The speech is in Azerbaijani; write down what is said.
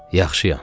Yaxşıyam.